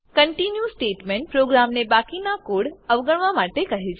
continue statement પ્રોગ્રામને બાકીનો code અવગણવા માટે કહે છે